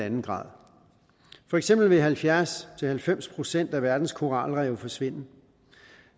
en grader for eksempel vil halvfjerds til halvfems procent af verdens koralrev forsvinde